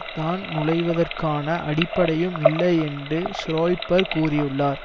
தான் நுழைவதற்கான அடிப்படையும் இல்லை என்று ஸ்ரொய்பர் கூறியுள்ளார்